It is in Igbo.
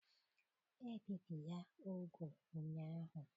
Ebibi ya úgwù ụnyahụ.